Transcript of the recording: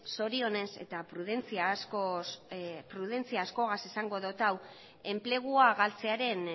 zorionez eta prudentzia askorekin esango dut hau enplegua galtzearen